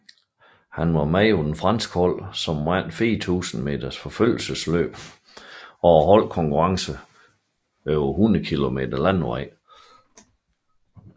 Han var med på de franske hold som vandt 4000 meter forfølgelsesløb og holdkonkurrencen over 100 kilometer landevej